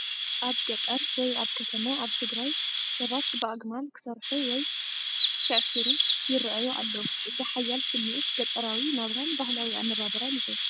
ኣብ ገጠር፡ ወይ ኣብ ከተማ ኣብ ትግራይ፡ ሰባትብ ኣግማል ክሰርሑ/ክዕሽሩ ይረኣዩ ኣለው። እዚ ሓያል ስምዒት ገጠራዊ ናብራን ባህላዊ ኣነባብራን ይህብ!